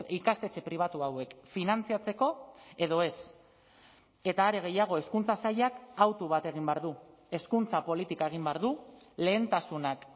ikastetxe pribatu hauek finantzatzeko edo ez eta are gehiago hezkuntza sailak autu bat egin behar du hezkuntza politika egin behar du lehentasunak